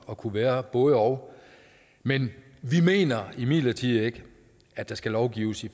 at kunne være både og men vi mener imidlertid ikke at der skal lovgives